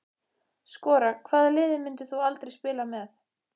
Skora Hvaða liði myndir þú aldrei spila með?